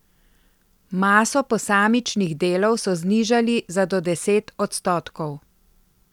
Maso posamičnih delov so znižali za do deset odstotkov.